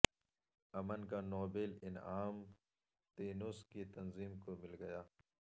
امن کا نوبیل انعام تیونس کی تنظیم کو مل گیا